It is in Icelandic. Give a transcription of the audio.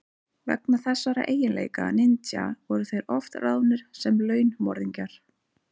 Vegna þessara eiginleika ninja voru þeir oft ráðnir sem launmorðingjar.